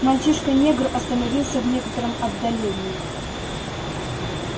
мальчишка-негр остановился в некотором отдалении